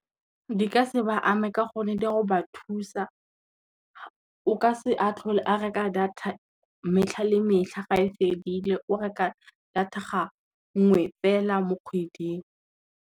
Di ka se ba ame ka gonne di a go ba thusa, o ka se tlhole a reka data metlha le metlha ga e fedile o reka data ga nngwe fela mo kgweding.